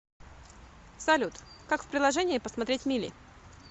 салют как в приложении посмотреть мили